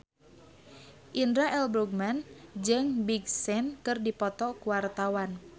Indra L. Bruggman jeung Big Sean keur dipoto ku wartawan